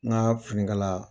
N ka finikala